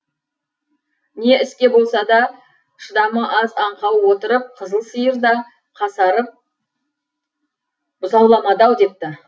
не іске болса да шыдамы аз аңқау отырып қызыл сиыр да қасарып бұзауламады ау депті